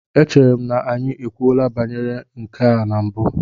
Echere m na anyị ekwuola banyere nke a na mbụ?